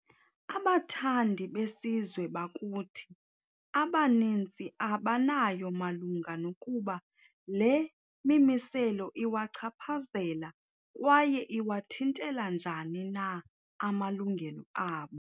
Abathandi besizwe bakuthi abanintsi abanayo malunga nokuba le mimiselo iwachaphazela kwaye iwathintela njani na amalungelo abo.